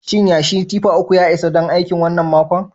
Shin yashi tiffa uku ya isa don aikin wannan makon?